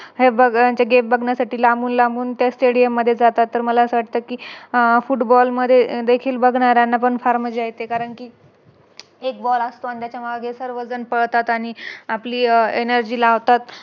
हे खेळ बघण्यासाठी लांबून लांबून त्या स्टेडियम मध्ये जातात तर मला असं वाटत कि अह Footbal मध्ये देखील बघणार्यांना पण फार मज्जा येते कारण कि एक Ball आणि त्याच्यामागे सर्व जण पळतात आणि आपली Energy लावतात